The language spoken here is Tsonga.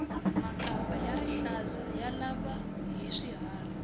makamba ya rihlaza ya lava hi swiharhi